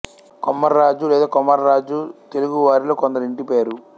కొమర్రాజు లేదా కొమఱ్ఱాజు తెలుగు వారిలో కొందరి ఇంటి పేరు